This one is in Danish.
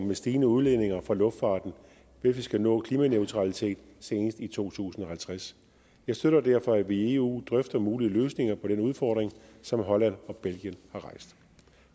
med stigende udledninger fra luftfarten hvis vi skal nå klimaneutralitet senest i to tusind og halvtreds jeg støtter derfor at vi i eu drøfter mulige løsninger på den udfordring som holland og belgien har rejst